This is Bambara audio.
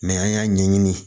an y'a ɲɛɲini